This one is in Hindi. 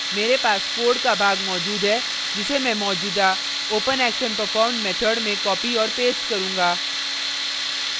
मेरे पास code का भाग मौजूद है जिसे में मौजूदा openactionperformed method में copy और paste करुँगा